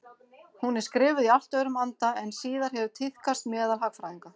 Hún er skrifuð í allt öðrum anda en síðar hefur tíðkast meðal hagfræðinga.